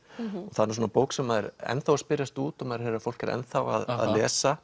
það er nú svona bók sem er ennþá að spyrjast út og maður heyrir að fólk er ennþá að lesa